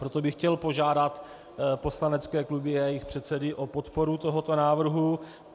Proto bych chtěl požádat poslanecké kluby a jejich předsedy o podporu tohoto návrhu.